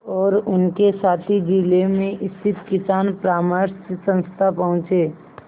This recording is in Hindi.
और उनके साथी जिले में स्थित किसान परामर्श संस्था पहुँचे